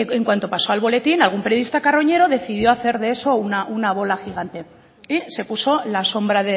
en cuanto pasó al boletín algún periodista carroñero decidió hacer de eso una bola gigante y se puso la sombra